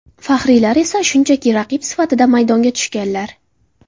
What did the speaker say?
Faxriylar esa shunchaki raqib sifatida, maydonga tushganlar.